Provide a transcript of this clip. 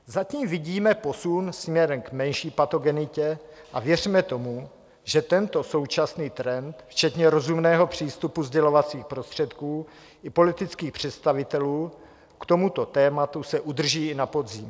Zatím vidíme posun směrem k menší patogenitě a věřme tomu, že tento současný trend včetně rozumného přístupu sdělovacích prostředků i politických představitelů k tomuto tématu se udrží i na podzim.